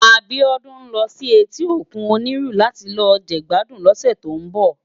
Abiodun n lò si èti ókún Oniru làti lò jegbàdún lòsè tó n bò